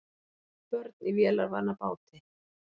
Börn í vélarvana báti